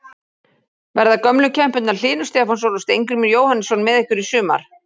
Verða gömlu kempurnar Hlynur Stefánsson og Steingrímur Jóhannesson með ykkur í sumar?